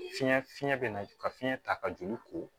Fiɲɛ fiɲɛ bɛ na ka fiɲɛ ta ka joli ko